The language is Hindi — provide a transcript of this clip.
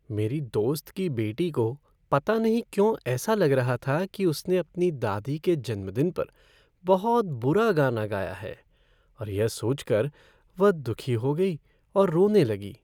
मेरी दोस्त की बेटी को पता नहीं क्यों ऐसा लग रहा था कि उसने अपनी दादी के जन्मदिन पर बहुत बुरा गाना गाया है और यह सोचकर वह दुखी हो गई और रोने लगी।